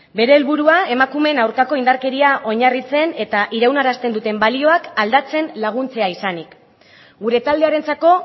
bere helburua emakumeen aurkako indarkeria oinarritzen eta iraunarazten duten balioak aldatzen laguntzea izanik gure taldearentzako